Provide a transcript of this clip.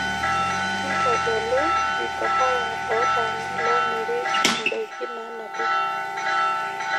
intodolu mikahawa ootaana loomirr endaki naanapi